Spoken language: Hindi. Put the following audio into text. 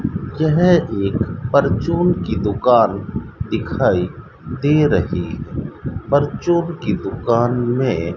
यह एक परचून की दुकान दिखाई दे रही परचून की दुकान में --